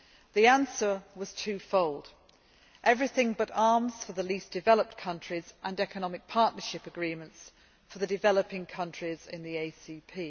The answer was twofold Everything But Arms' for the least developed countries, and economic partnership agreements for the developing countries in the ACP.